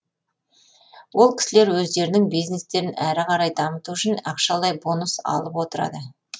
ол кісілер өздерінің бизнестерін әрі қарай дамыту үшін ақшалай бонус алып отырады